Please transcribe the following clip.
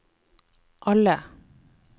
alle